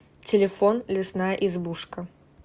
телефон лесная избушка